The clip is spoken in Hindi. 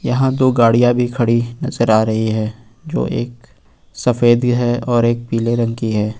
यहां दो गाड़ियां भी खड़ी नजर आ रही है जो एक सफेद ही है और एक पीले रंग की है।